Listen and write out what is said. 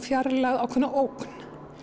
fjarlægð og ákveðna ógn